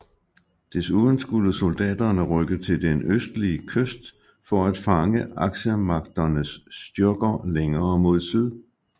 Desuden skulle soldaterne rykke til den østlige kyst for at fange Aksemagternes styrker længere mod syd